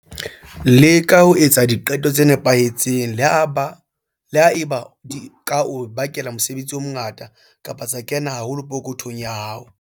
Leka ho etsa diqeto tse nepahetseng, le ha eba di ka o bakela mosebetsi o mongata kapa tsa kena haholo ka pokothong ya hao.